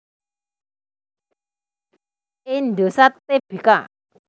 Indosat Tbk